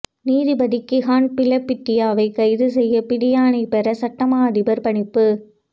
நீதிபதி கிஹான் பிலபிட்டியவை கைது செய்ய பிடியாணை பெற சட்ட மாஅதிபர் பணிப்பு